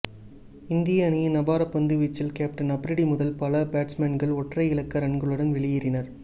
இந்திய அணியின் அபார பந்துவீச்சில் கேப்டன் அப்ரிடி முதல் பல பேட்ஸ்மேன்கள் ஒற்றை இலக்க ரன்களுடன் வெளியேறினர்